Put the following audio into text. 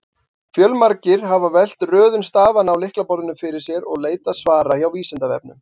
Fjölmargir hafa velt röðun stafanna á lyklaborðinu fyrir sér og leitað svara hjá Vísindavefnum.